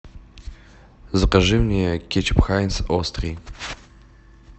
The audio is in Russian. закажи мне кетчуп хайнц острый